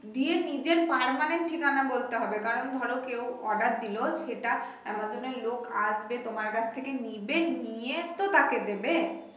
দিয়ে নিজের permanent ঠিকানা বলতে হবে কারণ ধরো কেউ order দিলো সেটা আমাজন এর লোক আসবে তোমার কাছ থেকে নিবে নিয়ে তো তাকে দিবে।